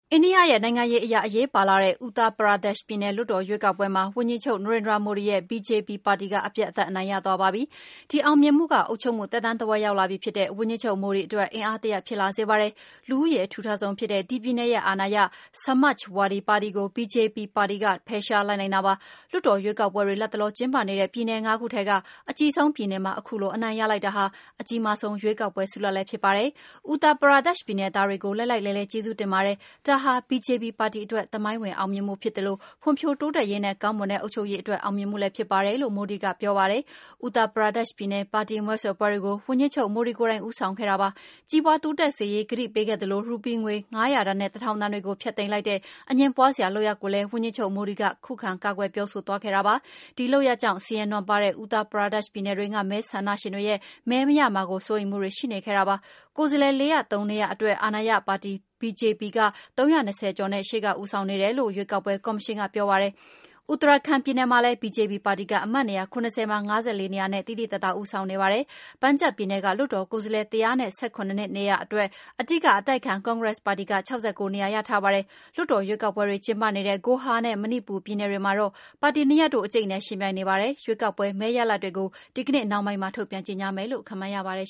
အိန္ဒိယရဲ့ နိုင်ငံရေးအရ အရေးပါလှတဲ့ အူထရာ ပရာဒက်ရှ် Uttar Pradesh ပြည်နယ် လွှတ်တော် ရွေးကောက်ပွဲမှာ အာဏာရ BJP ပါတီက အပြတ်အသတ် အနိုင်ရ သွားပါပြီ။ ဒီအောင်မြင်မှုက အုပ်ချုပ်မှု သက်တမ်း တဝက် ရောက်လာပြီဖြစ်တဲ့ ဝန်ကြီးချုပ် Narendra Modi အတွက် အင်အားဖြစ် လာစေပါတယ်။ လူဦးရေ အထူထပ်ဆုံးဖြစ်တဲ့ ဒီပြည်နယ်ရဲ့ အာဏာရ Samajwadi ပါတီကို BJP ပါတီက ဖယ်ရှားနိုင်လိုက်တာပါ။ လွှတ်တော် ရွေးကောက်ပွဲတွေ လတ်တလော ကျင်းပနေတဲ့ ပြည်နယ်ငါးခုထဲက အကြီးဆုံးပြည်နယ်မှာ ခုလို အနိုင်ရ လိုက်တာဟာ အကြီးမားဆုံးရွေးကောက်ပွဲ ဆုလဒ်လည်း ဖြစ်ပါတယ်။ အူထရာ ပရာဒက်ရှ် ြပည်နယ် သားတွေကို လှိုက်လှိုက်လှဲလှဲ ကျေးဇူးတင်ပါတယ်။ ဒါဟာ BJP ပါတီ အတွက် သမိုင်းဝင်အောင်မြင်မှုဖြစ်သလို ဖွံ့ဖြိုး တိုးတက်ရေးနဲ့ ကောင်းမွန်တဲ့ အုပ်ချုပ်ရေး အတွက်အောင်မြင်မှုလည်း ဖြစ်ပါတယ်လို့ Modi ကပြောပါတယ်။ အူထရာ ပရာဒက်ရှ်ပြည်နယ် ပါတီမဲဆွယ် ပွဲတွေကို ဝန်ကြီးချုပ်မိုဒီ ကိုယ်တိုင် ဦးဆောင် ခဲ့တာဖြစ်ပါတယ်။ ကြီးပွါး တိုးတက်လာစေရေး ကတိပေး ခဲ့သလို ရူပီးငွေ ၅၀၀ တန်နဲ့ ၁၀၀၀ တန်တွေကို ဖျက်သိမ်းလိုက်တဲ့ အငြင်းပွါးစရာ လုပ်ရပ်ကိုလည်း ဝန်ကြီးချုပ် Modi က ကာကွယ်ပြောဆို သွားခဲ့တာပါ။ ဒီလုပ်ရပ်ကြောင့် ဆင်းရဲ နွမ်းပါးတဲ့ အူထရာပရာဒက်ရှ် ပြည်နယ်တွင်းက မဲဆန ္ဒရှင်တွေရဲ့ မဲမရမှာ စိုးရိမ်မှုတွေ ရှိနေခဲ့တာ ဖြစ်ပါတယ်။ ကိုယ်စားလှယ် ၄၀၃ နေရာ အတွက် အာဏာရ BJP ပါတီ က ၃၂၀ ကျော်နဲ့ ရှေ့က ဦးဆောင်နေတယ် လို့ ရွေးကောက်ပွဲ ကော်မရှင်က ပြောပါတယ်။ Uttarakhand ပြည်နယ်မှာလည်း BJP ပါတီက အမတ်နေရာ ၇၀ မှာ ၅၄ နေရာနဲ့ သိသိသာသာ ဦးဆောင်နေပါတယ်။ Punjab ပြည်နယ်က လွှတ်တော် ကိုယ်စားလှယ် ၁၁၇ နေရာအတွက် အဓိက အတိုက်အခံ ကွန်ဂရက်ပါတီက ၆၉ နေရာ ရထားပါပြီ။ လွှတ်တော် ရွေးကောက်ပွဲတွေ ကျင်းပနေတဲ့ ဂိုဟာနဲ့ မဏိပူရ် ပြည်နယ်တွေမှာတော့ ပါတီနှစ်ရပ်တို့ အကြိတ်အနယ် ယှဉ်ပြိုင်နေကြ ပါတယ်။ ရွေးကောက်ပွဲမဲရလာဒ်တွေကို ဒီကနေ့နှောင်းပိုင်းမှာ ထုတ်ပြန်ကြေငြာ မယ်လို့ ခန့်မှန်း ရပါတယ်